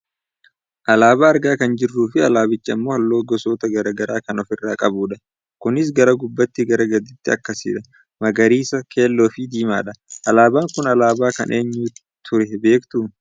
Alaabaa argaa kan jirruufi alaabichi ammoo halluu gosoota gara garaa kan ofirraa qabudha. Kunis gara gubbaatii gara gadiitti akkasidha; magariisa, keelloo fi diimaadha. Alaabaan kun alaabaa kan eenyuu ture beektuu?